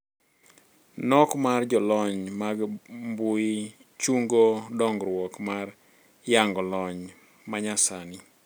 Nok mar jolony mag mbui chungo dongruok mar yango lony manyasani.